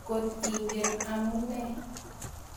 Ngot ingen amune.